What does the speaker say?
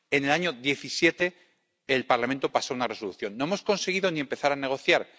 En el año 2017, el Parlamento aprobó una Resolución no hemos conseguido ni empezar a negociar